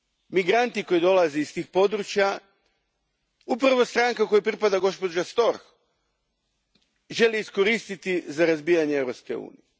Migrante koji dolaze iz tih područja upravo stranka kojoj pripada gospođa Storch želi iskoristiti za razbijanje Europske unije.